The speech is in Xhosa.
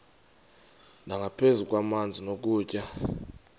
nangaphezu kwamanzi nokutya